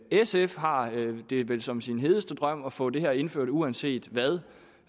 sf har det vel som sin hedeste drøm at få det her indført uanset hvad